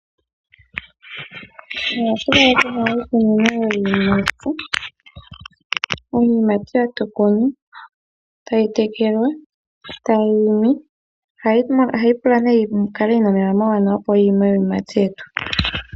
Ohatu kala tuna iikunino yiiyimati. Iiyimati ohatu yi kunu, tayi tekelwa, e tayi imi. Ohashi pula nee yikale yina omeya ga gwana, opo yi ime iiyimati yetu.